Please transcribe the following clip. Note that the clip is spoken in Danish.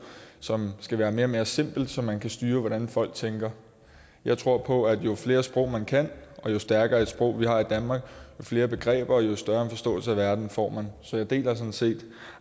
som skal være mere og mere simpelt så man kan styre hvordan folk tænker jeg tror på at jo flere sprog man kan og jo stærkere et sprog man har i danmark jo flere begreber og jo større forståelse af verden får man så jeg deler sådan set